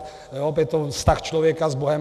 Je to vztah člověka s bohem.